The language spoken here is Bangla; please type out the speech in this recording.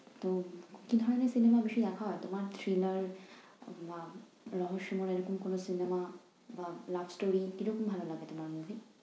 তো কি ধরণের cinema বেশি দেখা হয় তোমার? Thriller বা রহস্যময় এরকম কোন cinema বা love story কীরকম ভালো লাগে তোমার movie?